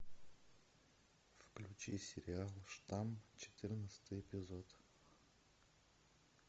включи сериал штамм четырнадцатый эпизод